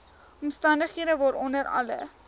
omstandighede waaronder alle